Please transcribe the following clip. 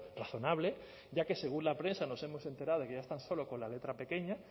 razonable ya que según la prensa nos hemos enterado de que ya están solo con la letra pequeña